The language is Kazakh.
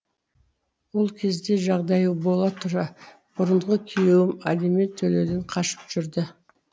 ол кезде жағдайы бола тұра бұрынғы күйеуім алимент төлеуден қашып жүрді